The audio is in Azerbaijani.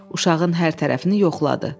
Uşağın hər tərəfini yoxladı.